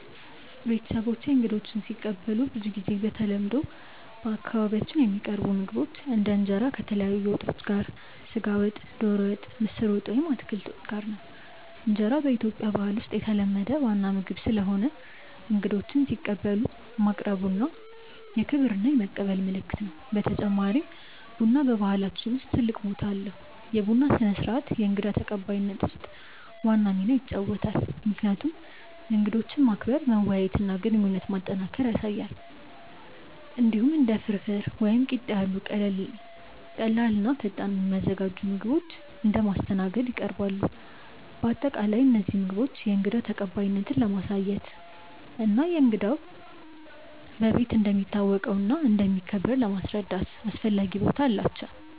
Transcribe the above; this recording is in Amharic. ቤተሰቦቼ እንግዶችን ሲቀበሉ ብዙ ጊዜ በተለምዶ በአካባቢያችን የሚቀርቡ ምግቦች እንደ እንጀራ ከተለያዩ ወጦች (ስጋ ወጥ፣ ዶሮ ወጥ፣ ምስር ወጥ ወይም አትክልት ወጥ) ጋር ነው። እንጀራ በኢትዮጵያ ባህል ውስጥ የተለመደ ዋና ምግብ ስለሆነ እንግዶችን ሲቀበሉ ማቅረቡ የክብር እና የመቀበል ምልክት ነው። በተጨማሪም ቡና በባህላችን ውስጥ ትልቅ ቦታ አለው፤ የቡና ስነ-ስርዓት በእንግዳ ተቀባይነት ውስጥ ዋና ሚና ይጫወታል፣ ምክንያቱም እንግዶችን ማክበር፣ መወያየት እና ግንኙነት ማጠናከር ያሳያል። እንዲሁም እንደ ፍርፍር ወይም ቂጣ ያሉ ቀላል እና ፈጣን የሚዘጋጁ ምግቦች እንደ ማስተናገድ ይቀርባሉ። በአጠቃላይ እነዚህ ምግቦች የእንግዳ ተቀባይነትን ለማሳየት እና እንግዳው በቤት እንደሚታወቀው እና እንደሚከበር ለማስረዳት አስፈላጊ ቦታ አላቸው።